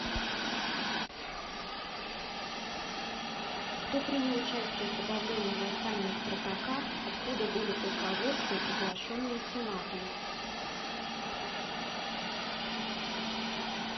кто принял участие в подавлении восстания спартака откуда были полководцы приглашенные сенатом